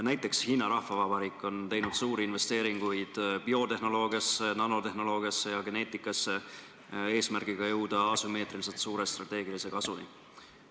Näiteks Hiina Rahvavabariik on teinud suuri investeeringuid biotehnoloogiasse, nanotehnoloogiasse ja geneetikasse, et jõuda asümmeetriliselt suure strateegilise kasuni.